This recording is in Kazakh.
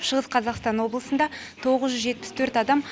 шығыс қазақстан облысында тоғыз жүз жетпіс төрт адам